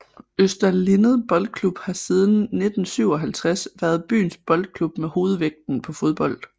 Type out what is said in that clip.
Øster Lindet Boldklub har siden 1957 været byens boldklub med hovedvægten på fodbold